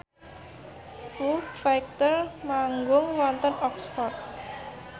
Foo Fighter manggung wonten Oxford